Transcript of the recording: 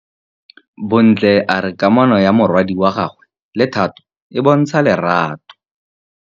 Bontle a re kamanô ya morwadi wa gagwe le Thato e bontsha lerato.